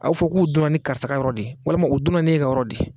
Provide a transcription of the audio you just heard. A bɛ fɔ k'u donna ni karisa ka yɔrɔ de ye walima o donna ne ka yɔrɔ de ye